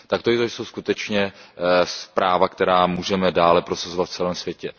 Tak to jsou skutečně práva, která můžeme dále prosazovat v celém světě.